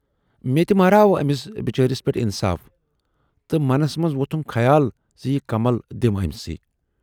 ""مے تہِ مہراہ آو أمۍ سٕے بِچٲرس پٮ۪ٹھ اِنصاف تہٕ منَس منز ووتھُم خیال زِ یہِ کمل دِمہٕ ٲمِس۔